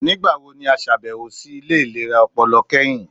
Nigbawo ni a ṣabẹwo si ile ilera ọpọlọ kẹhin?